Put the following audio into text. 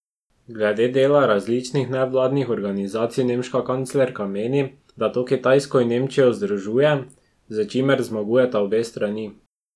Glede dela različnih nevladnih organizacij nemška kanclerka meni, da to Kitajsko in Nemčijo združuje, s čimer zmagujeta obe strani.